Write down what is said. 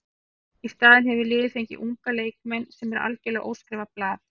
Í staðinn hefur liðið fengið unga leikmenn sem eru algjörlega óskrifað blað.